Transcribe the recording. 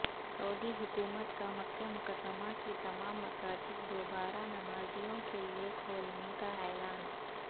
سعودی حکومت کا مکہ مکرمہ کی تمام مساجد دوبارہ نمازیوں کیلئے کھولنے کا اعلان